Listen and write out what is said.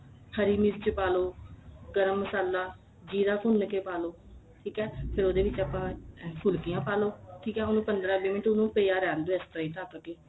ਹਰੀ ਮਿਰਚ ਪਾ ਲੋ ਗਰਮ ਮਸਾਲਾ ਜੀਰਾ ਭੁੰਨ ਕੇ ਪਾ ਲੋ ਠੀਕ ਏ ਫੇਰ ਉਹਦੇ ਵਿੱਚ ਆਪਾਂ ਫੁਲਕੀਆਂ ਪਾ ਲੋ ਠੀਕ ਏ ਉਹਨੂੰ ਪੰਦਰਾਂ ਵੀਹ ਮਿੰਟ ਉਹਨੂੰ ਪਿਆ ਰਹਿਣ ਦੋ ਇਸ ਤਰ੍ਹਾਂ ਈ ਢੱਕ ਕੇ